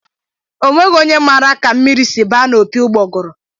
Onweghi onye maara ka mmiri si baa n'opi ụgbọguru